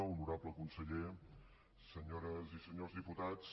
honorable conseller senyores i senyors diputats